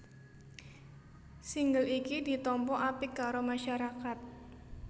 Single iki ditampa apik karo masyarakat